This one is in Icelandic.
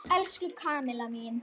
Elsku Kamilla mín.